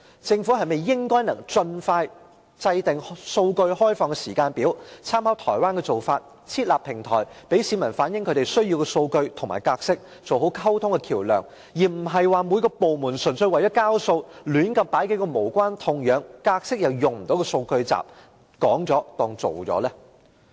政府應盡快制訂開放數據的時間表，並參考台灣的做法，設立平台，讓市民反映他們需要的數據及格式，做好溝通的橋梁，而不是每個部門純粹為了交數，隨便上載數個無關痛癢，格式又無法使用的數據集，便當作交了差。